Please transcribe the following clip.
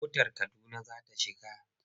Motar Kaduna za ta cika.